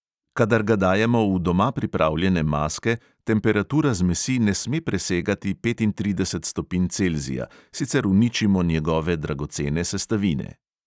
Kadar ga dajemo v doma pripravljene maske, temperatura zmesi ne sme presegati petintrideset stopinj celzija, sicer uničimo njegove dragocene sestavine.